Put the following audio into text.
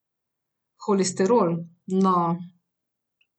Holesterol, no ...